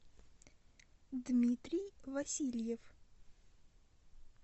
дмитрий васильев